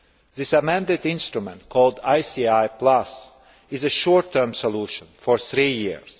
This amended instrument, called ICI Plus, is a short term solution for three years.